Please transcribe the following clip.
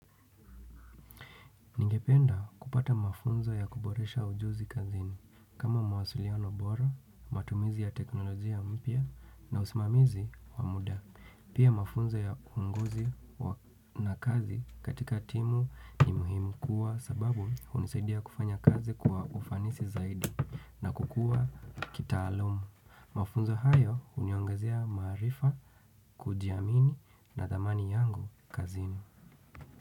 Njependa kupata mafunzo ya kuboresha ujuzi kazini. Kama mawasiliano bora, matumizi ya teknolojia mpya na usimamizi wa muda. Pia mafunzo ya uongozi na kazi katika timu ni muhimu kwa sababu hunisaidia kufanya kazi kuwa ufanisi zaidi na kukua kitaalamu. Mafunzo hayo huniongezia maarifa kujiamini na dhamani yangu kazini.